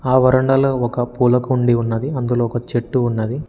ఆ వరండాలో ఒక పూల కుండి ఉన్నది అందులో ఒక చెట్టు ఉన్నది.